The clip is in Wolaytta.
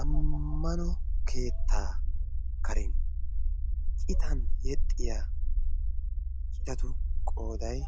ammano keettaa karen citan yexxiya ciitatu qoodai